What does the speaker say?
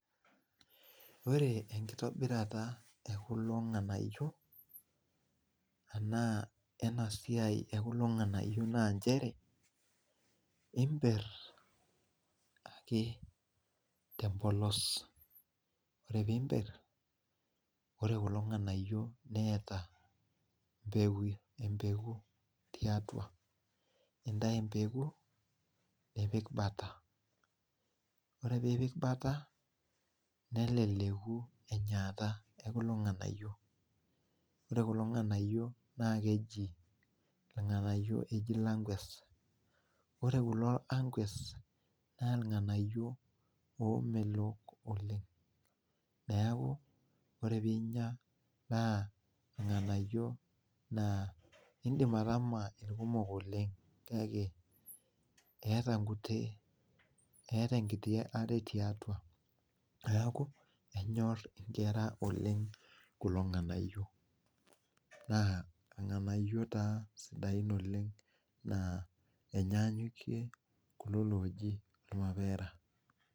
Ore enkitobirata e kulo ng'anayio enaa ena siai e kulo ng'anayio naa nchere imperr ake te mbolos, ore piimberr ore kulo ng'anayio neeta empeku tiatwa. Nintayu empeku nipik bata. Ore piipik bata neleleku enyaata e kulo ng'anayio. Ore kulo ng'anayio naa keji irng'anayio ejii langwes. Ore kulo angwes naa irng'anayiok oomelok oleng. Neeku ore piinya naa irng'anayiok naa indim ataama irkumok oleng kake eeta nkuti, eeta enkiti are tiatwa neeku enyorr inkera oleng kulo ng'anayio naa irng'anayio taa sidain oleng naa enyanyukie kulo looking irmapera